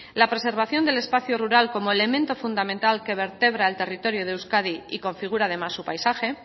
la preservación del espacio rural como elemento fundamental que vertebra el territorio de euskadi y configura además su paisaje